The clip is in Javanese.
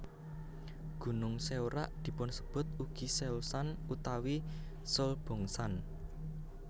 Gunung Seorak dipunsebut ugi Seolsan utawi Seolbongsan